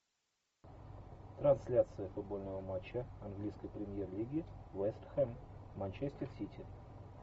трансляция футбольного матча английской премьер лиги вест хэм манчестер сити